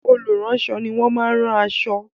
Olùránṣọ ni wọ́n máa rán aṣọ.